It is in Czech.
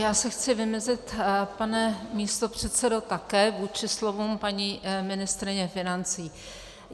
Já se chci vymezit, pane místopředsedo, také vůči slovům paní ministryně financí.